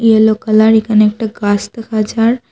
Yellow colour একানে একটা গাস দেখা যার।